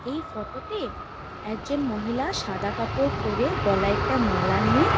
এই ফটোতে তে একজন মহিলা সাদা কাপড় পরে গলায় একটা মালা নিয়ে।